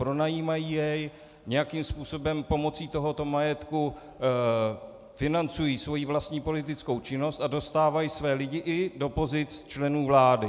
Pronajímají jej, nějakým způsobem pomocí tohoto majetku financují svou vlastní politickou činnost a dostávají své lidi i do pozic členů vlády.